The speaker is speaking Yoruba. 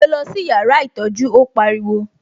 Gbé lọ sí yàrá ìtọ́jú, ó pariwo